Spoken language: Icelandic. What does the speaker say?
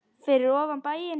Fyrir ofan bæinn.